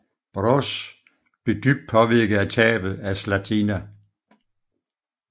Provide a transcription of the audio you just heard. Broz blev dybt påvirket af tabet af Zlatina